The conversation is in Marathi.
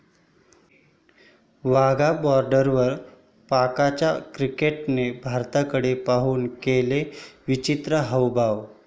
वाघा बाॅर्डरवर पाकच्या क्रिकेटरने भारताकडे पाहुन केले विचित्र हावभाव